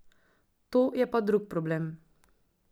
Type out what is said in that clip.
To je pa drug problem.